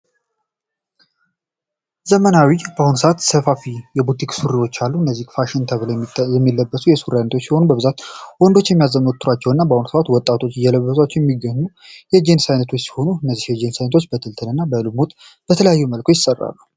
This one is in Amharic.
ዘመናዊ በአሁኑ ሰዓት ሰፋፊ የቡቲክ ሱሪዎች አሉ እነዚህ ፋሽን ተብለ የሚለበሱ የሱሪ አይነቶች ሲሆኑ በብዛት ወንዶች የሚያዘወትሯቸው እና በአሁኑ ሰዓት ወጣቶች እየለበሷቸው የሚገኙ የጅንስ አይነቶች ሲሆኑ እነዚህ የጅንስ አይነቶች በትልትን እና በልሙጥ በተለያየ መልኩ ይሰራሉ።